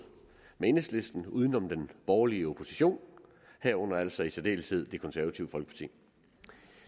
med enhedslisten uden om den borgerlige opposition herunder altså i særdeleshed det konservative folkeparti